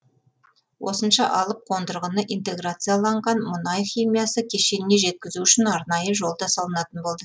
осынша алып қондырғыны интеграцияланған мұнай химиясы кешеніне жеткізу үшін арнайы жол да салынатын болды